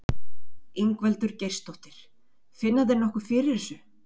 Ingveldur Geirsdóttir: Finna þeir nokkuð fyrir þessu?